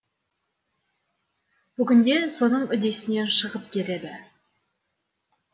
бүгінде соның үдесінен шығып келеді